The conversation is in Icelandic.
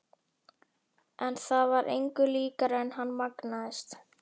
En það var engu líkara en hann magnaðist.